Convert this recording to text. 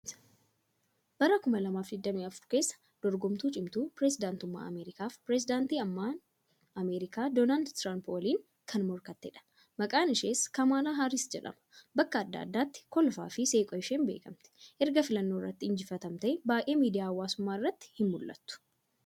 Bara 2024 keessa dorgomtuu cimtuu pireezidantummaa Aneerikaaf pireezidaantii amma Ameerikaa Doonaaldi Tiraampi waliin kan morkatteedha. Maqaan ishees Kaamaalaa Haariis jedhama. Bakka adda addaatti kolfaafi seequu isheen beekamtu. Erga filannoo irratti injifatamtee baay'ee miidiyaalee hawaasummaa irratti hin mul'attu.